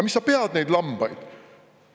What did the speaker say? Mis sa pead neid lambaid?